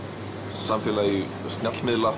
samfélag